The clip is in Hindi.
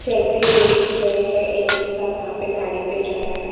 चलते हुए दिख रहे हैं एक इंसान वहाँ पे गाड़ी पे जा रहा --